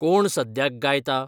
कोण सद्याक गायता?